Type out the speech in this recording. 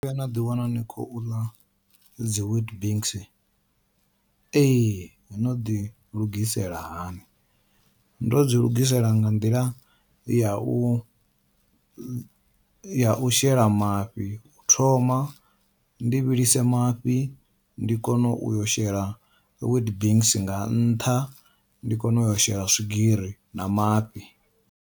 No no ḓi wana ni khou ḽa dzi weet bix, ee no ḓi lugisela hani, ndo dzi lugisela nga nḓila yau yau shela mafhi u thoma ndi vhilise mafhi ndi kone uyo shela weet bix nga nṱha ndi kone uyo shela swigiri na mafhi.